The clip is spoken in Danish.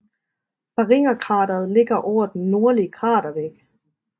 Barringerkrateret ligger over den nordlige kratervæg